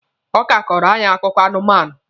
Ọ ga-akọrọ anyị akụkọ anụmanụ.